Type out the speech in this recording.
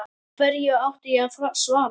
Hverju átti ég að svara?